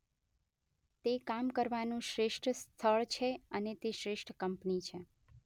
તે કામ કરવાનું શ્રેષ્ઠ સ્થળ છે અને તે શ્રેષ્ઠ કંપની છે